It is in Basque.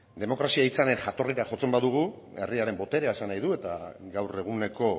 demokrazia hitzaren jatorrira jotzen badugu herriaren boterea esan nahi du eta gaur eguneko